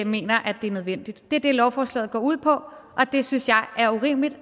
mener at det er nødvendigt det er det lovforslaget går ud på og det synes jeg er urimeligt